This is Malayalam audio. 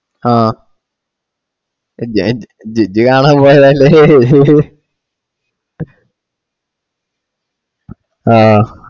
ആഹ് ഇജ്ജ് ഇജ്ജ് കാണാൻ പോയല്ലേ